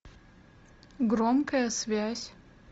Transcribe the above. громкая связь